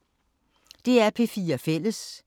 DR P4 Fælles